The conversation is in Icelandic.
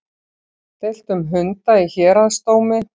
Deilt um hunda í héraðsdómi